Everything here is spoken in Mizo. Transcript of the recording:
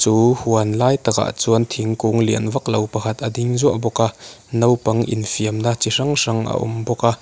chu huan lai takah chuan thingkung lian vak lo pakhat a ding zuah bawk a naupang infiamna chi hrang hrang a awm bawk a.